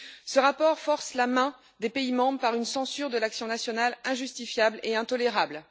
Ce rapport force la main des pays membres par une censure de l'action nationale injustifiable et intolérable.